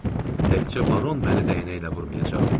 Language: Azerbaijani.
Təkcə baron məni bəyənməyəcək.